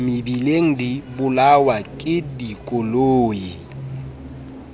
mebileng di bolawa ke dikoloi